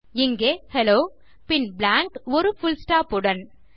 இங்கே ஹெல்லோ பின் பிளாங்க் ஒரு புல் ஸ்டாப் உடன்